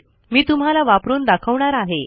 मी तुम्हाला वापरून दाखवणार आहे